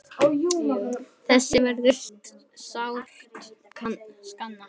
Þess verður sárt saknað.